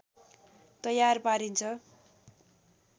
तयार पारिन्छ